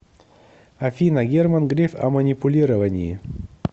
афина герман греф о манипулировании